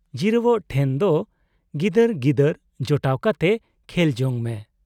ᱡᱤᱨᱟᱹᱣᱜ ᱴᱷᱮᱱ ᱫᱚ ᱜᱤᱫᱟᱹᱨ ᱜᱤᱫᱟᱹᱨ ᱡᱚᱴᱟᱣ ᱠᱟᱛᱮ ᱠᱷᱮᱞᱡᱚᱝ ᱢᱮ ᱾